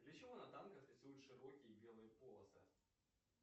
для чего на танках рисуют широкие белые полосы